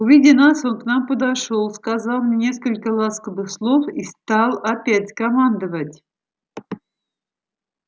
увидя нас он к нам подошёл сказал мне несколько ласковых слов и стал опять командовать